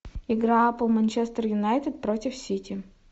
игра апл манчестер юнайтед против сити